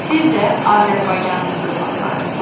Siz də Azərbaycanın övladlarısız.